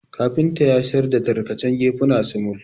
Kafinta yassar da tarkacen gefuna sumul